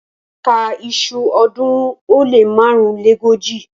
Ka iṣu ọ̀ọ́dúnrún ó lé márùnléógójì!